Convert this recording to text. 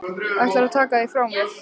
Ætlarðu að taka þig frá mér?